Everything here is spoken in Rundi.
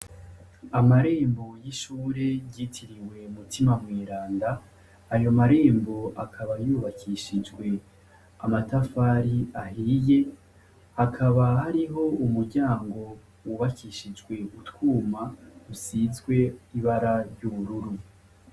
Amarembo y'ishure ryitiriwe Mutima mweranda. Ayo marembo akaba yubakishijwe amatafari ahiye, hakaba hariho umuryango wubakishijwe utwuma usizwe ibara ry'ubururu.